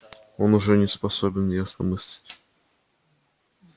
он уже не способен ясно мыслить